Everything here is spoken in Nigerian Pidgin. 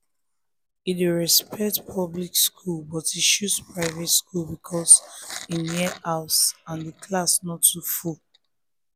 e respect public school but e choose private because e near house and the class no too full